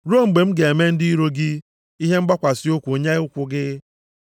ruo mgbe m ga-eme ndị iro gị ihe mgbakwasị ụkwụ nye ụkwụ gị.” ’+ 2:35 \+xt Abụ 110:1\+xt*